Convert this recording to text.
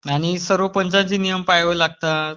आणि सर्व पंचांचे नियम पाळावे लागतात.